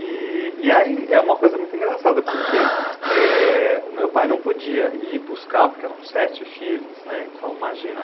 E aí é uma coisa muito engraçada, porque o meu pai não podia ir buscar, porque eram sete filhos, então imagina.